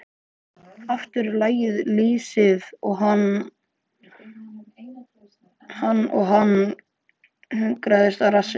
Aftur lagði lýsið hann og hann hlunkaðist á rassinn.